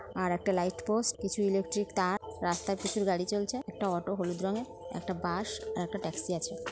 আর একটা light post কিছু electric তার রাস্তায় প্রচুর গাড়ি চলছে। একটা হলুদ রঙের একটা বাস ও একটা ট্যাক্সি আছে।